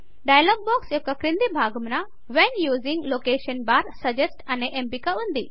dialog box యొక్క క్రింది భాగమున when using location bar suggest అనే ఎంపిక ఉంది